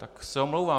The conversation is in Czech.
Tak se omlouvám.